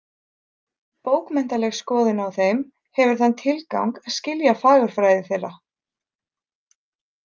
Bókmenntaleg skoðun á þeim hefur þann tilgang að skilja fagurfræði þeirra.